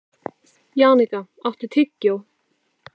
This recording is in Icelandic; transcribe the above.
Jannika, áttu tyggjó?